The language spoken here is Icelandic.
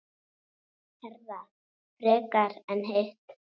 Herða frekar en hitt?